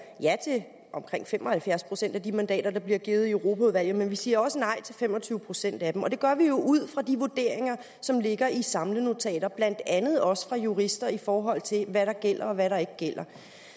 ja til omkring fem og halvfjerds procent af de mandater der bliver givet fra europaudvalget men vi siger også nej til fem og tyve procent af dem det gør jo vi ud fra de vurderinger som ligger i samlenotater blandt andet også fra jurister i forhold til hvad der gælder og hvad der ikke gælder